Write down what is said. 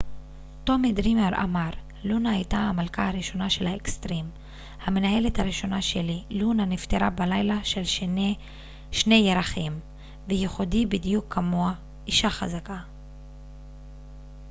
טומי דרימר אמר לונה הייתה המלכה הראשונה של האקטסרים המנהלת הראשונה שלי לונה נפטרה בלילה של שני ירחים ייחודי בדיוק כמוה אשה חזקה